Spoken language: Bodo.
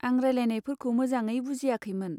आं रायज्लायनायफोरखौ मोजाङै बुजियाखैमोन।